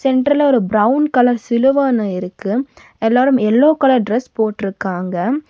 சென்டர்ல ஒரு brown colour சிலுவ ஒன்னு இருக்கு எல்லாரும் எல்லோ கலர் டிரஸ் போட்ருக்காங்க.